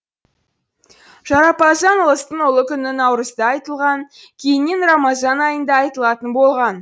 жарапазан ұлыстың ұлы күні наурызда айтылған кейіннен рамазан айында айтылатын болған